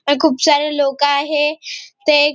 इथ खुप सारे लोक आहे ते --